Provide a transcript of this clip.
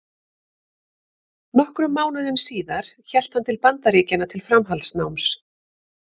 Nokkrum mánuðum síðar hélt hann til Bandaríkjanna til framhaldsnáms.